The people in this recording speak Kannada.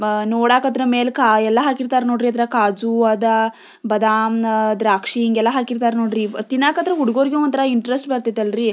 ಬಾ ನೋಡಕಾದ್ರ ಮೇಲೆ ಕಾಯೆಲ್ಲಾ ಹಾಕಿರ್ತಾರ ನೋಡ್ರಿ ಕಾಜು ಅದಾ ಬಾದಾಮ್ ನಾ ದ್ರಾಕ್ಷಿ ಹಿಂಗ್ ಎಲ್ಲ ಹಾಕಿರ್ತಾರ ನೋಡ್ರಿ ತಿನ್ನಾಕದ್ರೂ ಹುಡುಗುರ್ಗೂ ಒಂತರ ಇಂಟರೆಸ್ಟ್ ಬರ್ತಿತಲ್ರಿ.